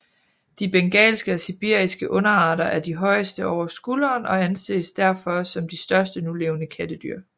De bengalske og sibiriske underarter er de højeste over skulderen og anses derfor som de største nulevende kattedyr